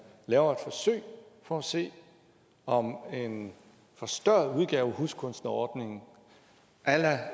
laver et forsøg for at se om en forstørret udgave af huskunstnerordningen a la